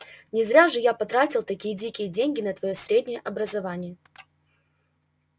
не зря же я потратил такие дикие деньги на твоё среднее образование